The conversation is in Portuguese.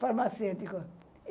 Farmacêutico.